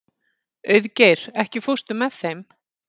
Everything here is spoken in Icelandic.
Auðgeir, ekki fórstu með þeim?